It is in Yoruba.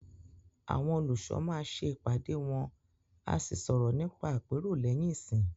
Àwọn olùṣọ́ máa ṣẹ ìpàdé wọ́n à sí sọ̀rọ̀ nípa àpérò lẹ́yìn ìsìn.